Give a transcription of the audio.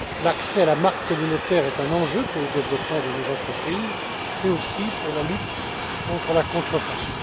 L'accès à la marque communautaire est un enjeu pour le développement de nos entreprises et aussi pour la lutte contre la contrefaçon.